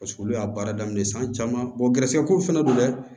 Paseke olu y'a baara daminɛ san caman gɛrɛsɛgɛ kow fɛnɛ don dɛ